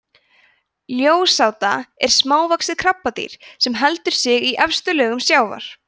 ljósáta er smávaxið krabbadýr sem heldur sig í efstu lögum sjávar